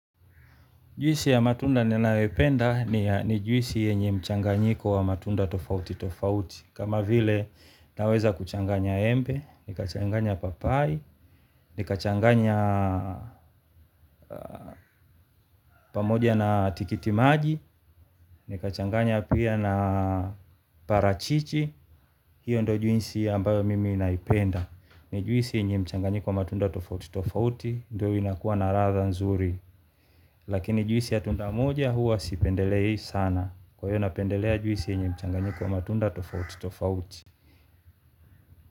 Juisi ya matunda ninayoipenda ni juisi yenye mchanganyiko wa matunda tofauti tofauti. Kama vile naweza kuchanganya embe, nikachanganya papai, nikachanganya pamoja na tikiti maji, nikachanganya pia na parachichi. Hiyo ndo juisi ambayo mimi naipenda. Ni juisi yenye mchanganyiko wa matunda tofauti tofauti, ndo inakua naradha nzuri. Lakini juisi ya tunda moja huwa sipendelei sana. Kwa hiyo napendelea juisi yenye mchanganyiko wa matunda tofauti tofauti.